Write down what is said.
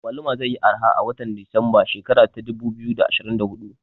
Agwaluma zai yi arha a watan desemba shekara ta dubu biyu da ashirin da hudu